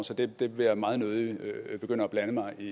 så det vil jeg meget nødig begynde at blande mig i